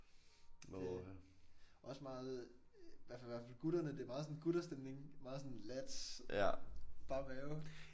Det også meget i hvert fald hvert fald for gutterne det er meget sådan gutterstemning. Meget sådan lads. Bare være